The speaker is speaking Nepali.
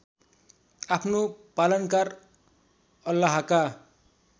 आफ्नो पालनकार अल्लाहका